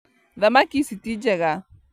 Thamaki ici ti njega